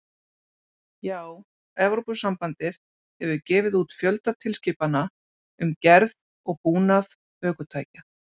Já, Evrópusambandið hefur gefið út fjölda tilskipana um gerð og búnað ökutækja.